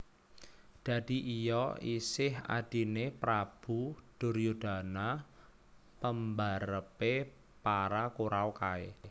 Dadi iya isih Adhine Prabu Duryudana pembarepe para Kuraw kae